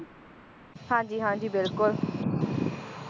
ਹਾਂਜੀ ਹਾਂਜੀ ਬਿਲਕੁਲ